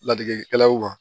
Ladegekɛlaw kan